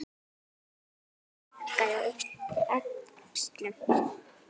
Nikki hikaði og yppti öxlum.